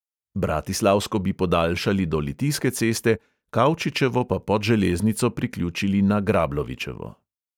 Bratislavsko bi podaljšali do litijske ceste, kavčičevo pa pod železnico priključili na grablovičevo.